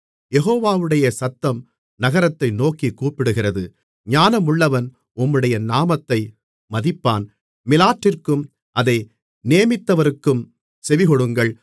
யெகோவாவுடைய சத்தம் நகரத்தை நோக்கிக் கூப்பிடுகிறது ஞானமுள்ளவன் உம்முடைய நாமத்தை மதிப்பான் மிலாற்றிற்கும் அதை நேமித்தவருக்கும் செவிகொடுங்கள்